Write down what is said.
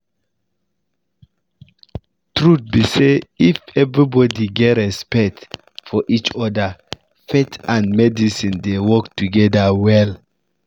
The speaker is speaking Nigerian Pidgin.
truth be say if everybody get respect for each other faith and medicine dey work together well